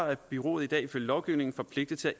er bureauet i dag ifølge lovgivningen forpligtet til